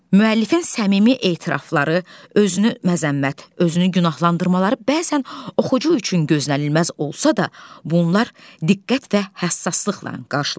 Müəllifin səmimi etirafları, özünü məzəmmət, özünü günahlandırmaları bəzən oxucu üçün gözlənilməz olsa da, bunlar diqqət və həssaslıqla qarşılanır.